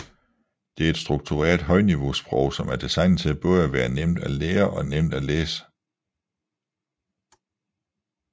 Det er et struktureret højniveausprog som er designet til både at være nemt at lære og nemt at læse